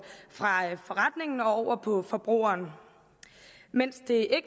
over på forbrugeren mens det